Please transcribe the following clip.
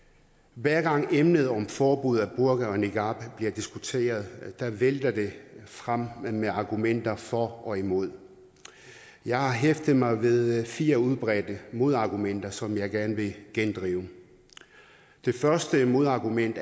hver gang emnet om forbud mod burka og niqab bliver diskuteret vælter det frem med argumenter for og imod jeg har hæftet mig ved fire udbredte modargumenter som jeg gerne vil gendrive det første modargument